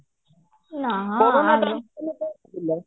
ovelap